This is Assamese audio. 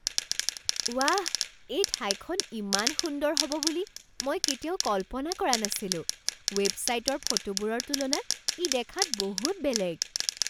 ৱাহ! এই ঠাইখন ইমান সুন্দৰ হ'ব বুলি মই কেতিয়াও কল্পনা কৰা নাছিলো। ৱেবছাইটৰ ফটোবোৰৰ তুলনাত ই দেখাত বহুত বেলেগ।